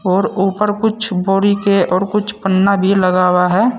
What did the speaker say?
और ऊपर कुछ बोड़ी के और कुछ पन्ना भी लगा हुआ है।